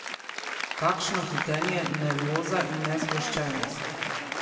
Kakšno hitenje, nervoza in nesproščenost.